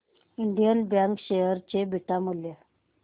Indian bank share चे beta मूल्य